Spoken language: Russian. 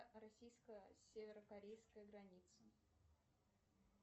российская северо корейская граница